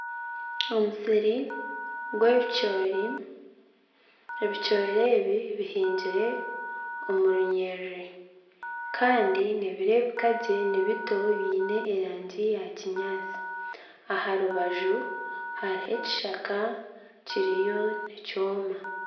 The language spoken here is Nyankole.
Omusiri gw'ebicoori, ebicoori ebi bihingire omu runyiriri kandi nibireebeka nibito biine erangi ya kinyaatsi aha rubaju hariyo ekishaka nikyoma